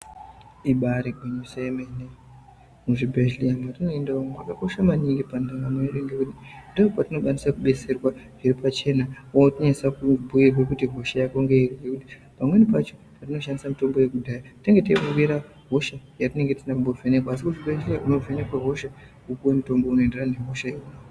Ibari gwinyisi yemene muzvibhedhleya mwatinoenda umu mwakakosha maningi pandaramo yedu ngekuti ndopatinokwanisa kudetserwa zviri pacheba wanase kubatsirwa kuti hosha yako ngeiri ngekuti pamweni pacho inoshandise mutombo yekudhaya tinenge teiningira hosha yatisine kumbovhenekwa asi kuchibhedhlera unopuwe mutombo unoenderana nehosha iyona.